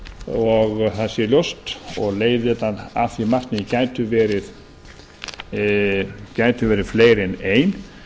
og það sé ljóst og leiðin að því markmiði gæti verið fleiri en ein